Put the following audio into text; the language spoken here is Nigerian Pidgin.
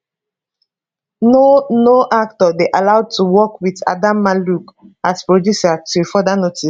no no actor dey allowed to work wit adamma luke as producer till further notice